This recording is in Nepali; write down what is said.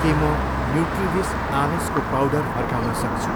के म न्युट्रिविस आलसको पाउडर फर्काउन सक्छु?